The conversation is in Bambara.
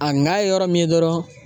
A na ye yɔrɔ min ye dɔrɔn